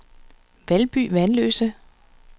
Valby Vanløse